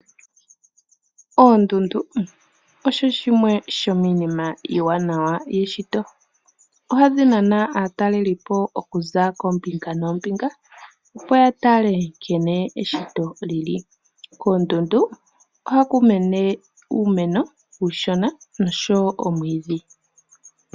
Oondundu osho shimwe shomiinima iiwanawa iishitwa. Ohadhi nana aataleli po okuza koombinga noombinga, opo ya tale nkene eshito lyili. Koondundu ohaku mene uumeno uushona noshowo omwiidhi.